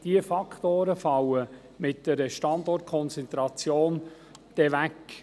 Diese Faktoren fallen mit einer Standortkonzentration ebenfalls weg.